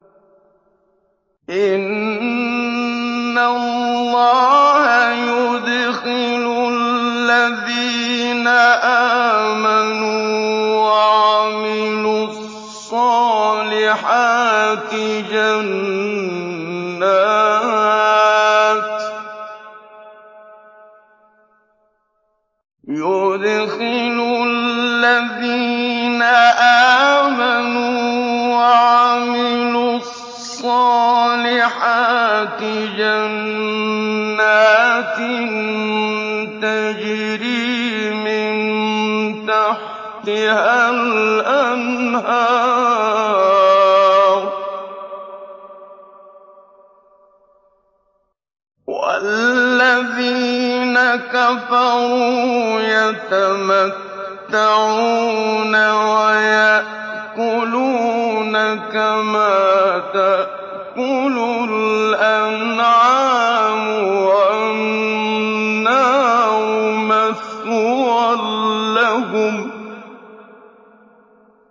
إِنَّ اللَّهَ يُدْخِلُ الَّذِينَ آمَنُوا وَعَمِلُوا الصَّالِحَاتِ جَنَّاتٍ تَجْرِي مِن تَحْتِهَا الْأَنْهَارُ ۖ وَالَّذِينَ كَفَرُوا يَتَمَتَّعُونَ وَيَأْكُلُونَ كَمَا تَأْكُلُ الْأَنْعَامُ وَالنَّارُ مَثْوًى لَّهُمْ